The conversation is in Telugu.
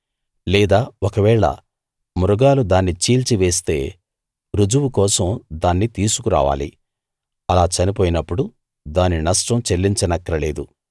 లేదా ఒకవేళ మృగాలు దాన్ని చీల్చివేస్తే రుజువు కోసం దాన్ని తీసుకురావాలి అలా చనిపోయినప్పుడు దాని నష్టం చెల్లించనక్కర లేదు